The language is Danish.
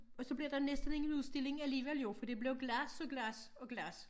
Og så bliver der næsten ingen udstilling alligevel jo for det bliver glas og glas og glas